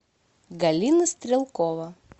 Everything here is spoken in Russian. галина стрелкова